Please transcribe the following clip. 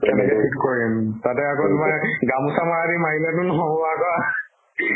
কেনেকে ঠিক কৰিম, তাতে আকৌ তোমাৰ গামোছা মৰাদি মাৰিলে তোমাৰ নহব আকৌ